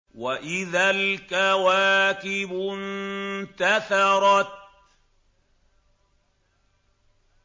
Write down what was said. وَإِذَا الْكَوَاكِبُ انتَثَرَتْ